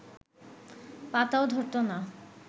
পাতাও ধরতো না